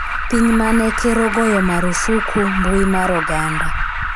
piny mane ker ogoyo marufuku mbui mar oganda